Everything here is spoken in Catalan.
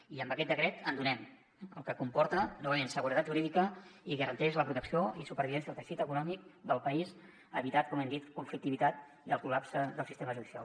i amb aquest decret en donem fet que comporta novament seguretat jurídica i garanteix la protecció i supervivència del teixit econòmic del país i evita com hem dit conflictivitat i el col·lapse del sistema judicial